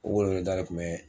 O weleweleda kun bɛ